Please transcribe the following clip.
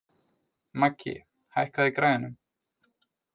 Maggi, hækkaðu í græjunum.